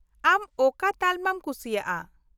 -ᱟᱢ ᱚᱠᱟ ᱛᱟᱞᱢᱟᱢ ᱠᱩᱥᱤᱭᱟᱜᱼᱟ ?